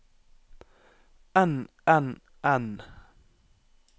enn enn enn